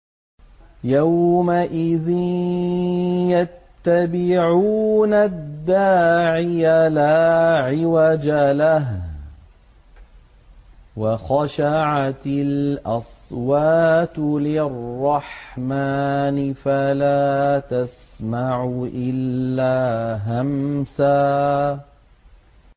يَوْمَئِذٍ يَتَّبِعُونَ الدَّاعِيَ لَا عِوَجَ لَهُ ۖ وَخَشَعَتِ الْأَصْوَاتُ لِلرَّحْمَٰنِ فَلَا تَسْمَعُ إِلَّا هَمْسًا